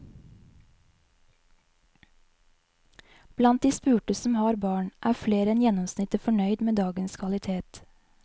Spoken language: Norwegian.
Blant de spurte som har barn, er flere enn gjennomsnittet fornøyd med dagens kvalitet.